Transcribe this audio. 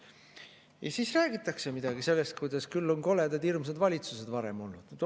Ja siis räägitakse midagi sellest, kuidas küll on koledad, hirmsad valitsused varem olnud.